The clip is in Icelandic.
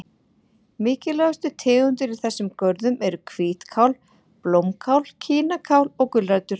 Mikilvægustu tegundir í þessum görðum eru hvítkál, blómkál, kínakál og gulrætur.